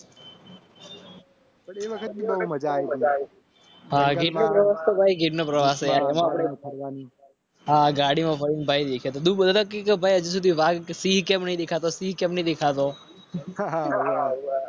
બહુ મજા આવી આ ગાડીમાં ભાઈ દેખાતો